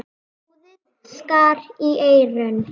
Hljóðið skar í eyrun.